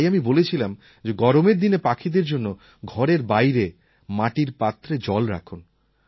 আর তাই আমি বলেছিলাম যে গরমের দিনে পাখিদের জন্য ঘরের বাইরে মাটির পাত্রে জল রাখুন